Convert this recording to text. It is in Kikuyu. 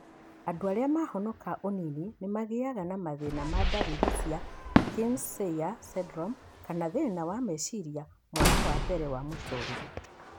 Andũ arĩa mahonoka ũnini nĩmagĩaga na mathĩna ma ndariri cia Kearns Sayre syndrome kana thĩna wa meciria mwaka wa mbere wa mũtũrĩre